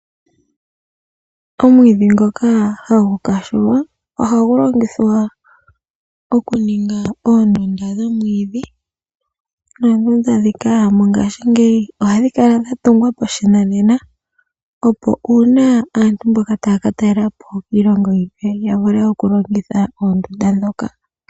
Omwiidhi ngoka hagu muwa ohagu longithwa okuninga oondunda dhomwiidhi noondunda ndhika mongaashingeyi ohadhi kala dha tungwa pashinanena, opo uuna aantu mboka taya ka talela po kiilongo yimwe ya vule okulongitha oondunda ndhoka.